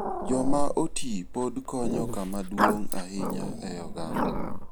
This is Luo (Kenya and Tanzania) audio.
Joma oti pod konyo kama duong' ahinya e oganda.